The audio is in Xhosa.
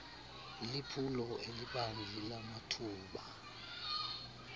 liphulo elibanzi lamathuba